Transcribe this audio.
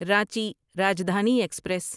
Ranchi Rajdhani express